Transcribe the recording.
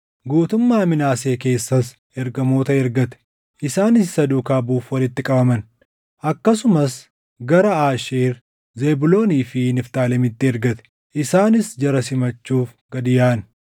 Guutummaa Minaasee keessas ergamoota ergate; isaanis isa duukaa buʼuuf walitti qabaman; akkasumas gara Aasheer, Zebuuloonii fi Niftaalemitti ergate; isaanis jara simachuuf gad yaaʼan.